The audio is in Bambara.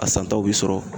A santaw bi sɔrɔ